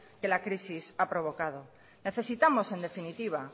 que la crisis ha provocado necesitamos en definitiva